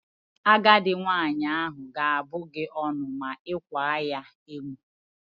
Agadi nwaanyị ahụ ga-abụ gị ọnụ ma ị kwaa ya emo.